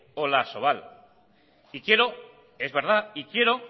y a asobal y quiero